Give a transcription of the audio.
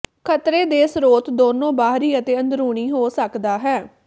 ਖਤਰੇ ਦੇ ਸਰੋਤ ਦੋਨੋ ਬਾਹਰੀ ਅਤੇ ਅੰਦਰੂਨੀ ਹੋ ਸਕਦਾ ਹੈ